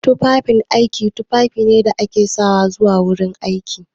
Tufafin aiki tufafi ne da ake sawa zuwa gurin aiki.